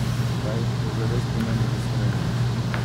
Kaj to zares pomeni za Slovenijo?